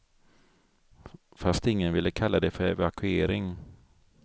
Fast ingen ville kalla det för evakuering.